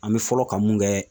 An bɛ fɔlɔ ka mun kɛ